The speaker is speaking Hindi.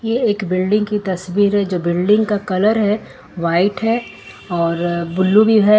ये एक बिल्डिंग की तस्वीर जो बिल्डिंग का कलर है व्हाइट है और ब्लू भी है।